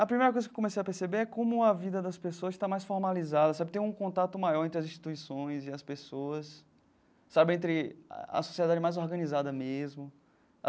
A primeira coisa que comecei a perceber é como a vida das pessoas está mais formalizada sabe, tem um contato maior entre as instituições e as pessoas, sabe entre a sociedade mais organizada mesmo.